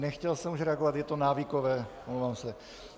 Nechtěl jsem už reagovat, je to návykové, omlouvám se.